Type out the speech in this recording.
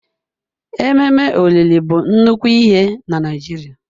Ememe olili bụ nnukwu ihe na Naịjirịa.